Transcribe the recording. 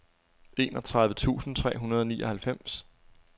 enogtredive tusind tre hundrede og nioghalvfems